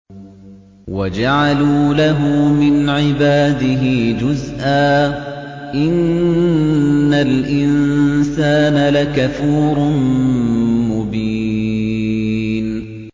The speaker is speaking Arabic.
وَجَعَلُوا لَهُ مِنْ عِبَادِهِ جُزْءًا ۚ إِنَّ الْإِنسَانَ لَكَفُورٌ مُّبِينٌ